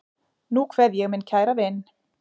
Nú kveð ég minn kæra vin.